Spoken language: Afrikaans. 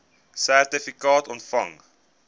sertifikaat ontvang